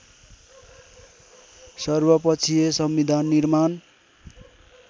सर्वपक्षीय संविधान निर्माण